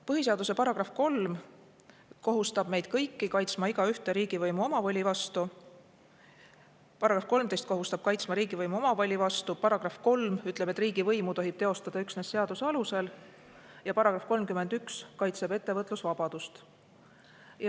Põhiseaduse § 13 kohustab meid kõiki kaitsma igaühte riigivõimu omavoli eest, § 3 ütleb, et riigivõimu tohib teostada üksnes seaduse alusel, ja § 31 kaitseb ettevõtlusvabadust.